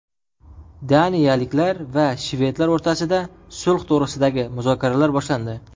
Daniyaliklar va shvedlar o‘rtasida sulh to‘g‘risidagi muzokaralar boshlandi.